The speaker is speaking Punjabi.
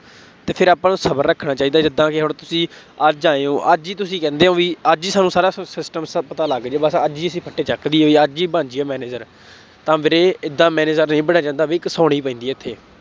ਅਤੇ ਫੇਰ ਆਪਾਂ ਨੂੰ ਸਬਰ ਰੱਖਣਾ ਚਾਹੀਦਾ, ਜਿਦਾਂ ਕਿ ਹੁਣ ਤੁਸੀਂ ਅੱਜ ਆਏ ਹੋ, ਅੱਜ ਹੀ ਤੁਸੀਂ ਕਹਿੰਦੇ ਹੋ ਬਈ, ਅੱਜ ਹੀ ਤੁਹਾਨੂੰ ਸਾਰਾ systems ਪਤਾ ਲੱਗ ਜਾਏ ਬਸ ਅੱਜ ਹੀ ਅਸੀਂ ਫੱਟੇ ਚੱਕ ਦੇਈਏ, ਬਈ ਅੱਜ ਹੀ ਬਣ ਜਾਈਏ manager ਤਾਂ ਵੀਰੇ ਏਦਾਂ manager ਨਹੀਂ ਬਣਿਆ ਜਾਂਦਾ, ਬਈ ਘਿਸਾਉਣੀ ਪੈਂਦੀ ਹੈ ਇੱਥੇ,